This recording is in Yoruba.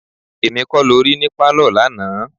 Èmi kọ́ lo rí ní pálọ̀ lánàá.